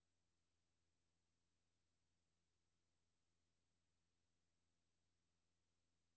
Den ligner tidligere tiders minicykel, og bringer minder frem om engelske cykler fra halvfjerdserne.